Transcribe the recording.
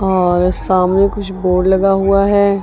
और सामने कुछ बोर्ड लगा हुआ है।